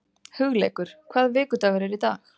Hugleikur, hvaða vikudagur er í dag?